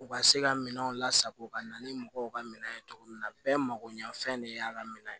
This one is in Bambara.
U ka se ka minɛnw lasago ka na ni mɔgɔw ka minɛn ye cogo min na bɛɛ makoɲɛfɛn de y'a ka minɛ ye